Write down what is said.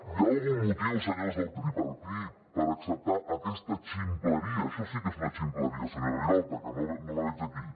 hi ha algun motiu senyors del tripartit per acceptar aquesta ximpleria això sí que és una ximpleria senyora vilalta que no la veig aquí